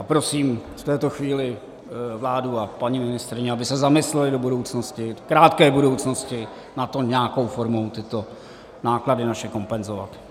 A prosím v této chvíli vládu a paní ministryni, aby se zamyslely do budoucnosti, krátké budoucnosti, na to nějakou formou tyto náklady naše kompenzovat.